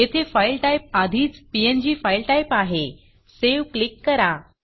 येथे file type आधीच PNG file typeफाइल टाइप आहे Saveसेव क्लिक करा